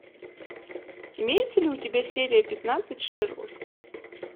имеется ли у тебя серия пятнадцать шерлок